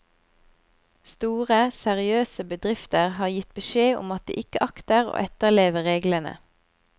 Store, seriøse bedrifter har gitt beskjed om at de ikke akter å etterleve reglene.